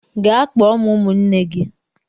Gaa kpọọ m ụmụnne gị.